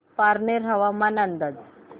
पारनेर हवामान अंदाज